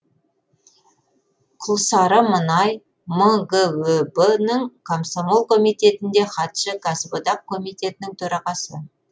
құлсары мұнай мгөб ның комсомол комитетінде хатшы кәсіподақ комитетінің төрағасы